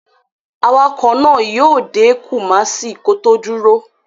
Awakọ̀ náà yíó dé Kumasi kó tó dúró